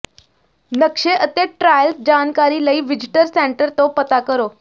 ਨਕਸ਼ੇ ਅਤੇ ਟ੍ਰਾਇਲ ਜਾਣਕਾਰੀ ਲਈ ਵਿਜ਼ਟਰ ਸੈਂਟਰ ਤੋਂ ਪਤਾ ਕਰੋ